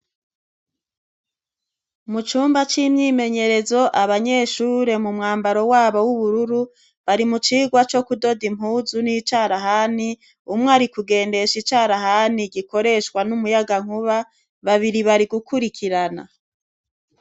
mu cyumba cy'imyimenyerezo abanyeshure mu mwambaro wabo w'ubururu bari mu cigwa cyo kudoda impuzu n'icarahani, umwe ari kugendesha icarahani gikoreshwa n'umuyaga nkuba babiri bari gukurikirana.